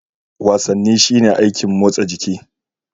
Wasanni shine aikin motsa jiki.